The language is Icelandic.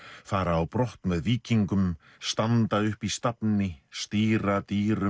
fara á brott með víkingum standa upp í stafni stýra dýrum